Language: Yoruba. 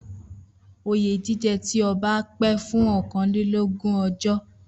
Oyè jíjẹ ti ọba pẹ́ fún ókanlelogun ọjọ́